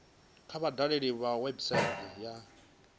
kha vha dalele website ya dti